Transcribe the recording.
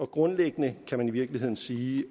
grundlæggende kan man i virkeligheden sige